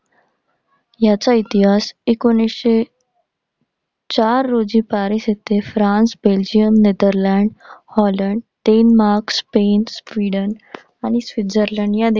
याचा इतिहास एकोणीसशे चार रोजी पॅरिस येथे France, Belgium, Netherlands, Holland, Denmark, Spain, Sweden आणि स्वित्झर्लंड.